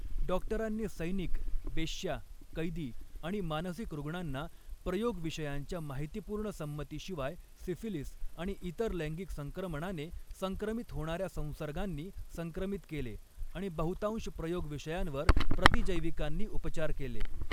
डॉक्टरांनी सैनिक, वेश्या, कैदी आणि मानसिक रूग्णांना, प्रयोगविषयांच्या माहितीपूर्ण संमतीशिवाय सिफिलीस आणि इतर लैंगिक संक्रमणाने संक्रमित होणाऱ्या संसर्गांनी संक्रमित केले, आणि बहुतांश प्रयोगविषयांवर प्रतिजैविकांनी उपचार केले.